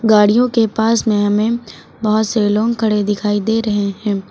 गाड़ियों के पास में हमें बहुत से लोग खड़े दिखाई दे रहे हैं।